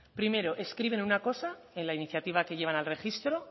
primero escriben una cosa en la iniciativa que llevan al registro